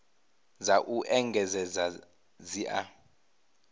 dza u engedzedza dzi a